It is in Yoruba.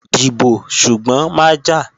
Dìbò, ṣùgbọ́n má jà!